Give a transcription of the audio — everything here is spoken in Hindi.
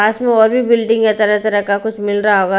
पास में और भी बिल्डिंग हैं तरह तरह का कुछ मिल रहा होगा।